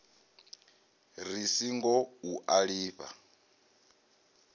ri singo u a lifha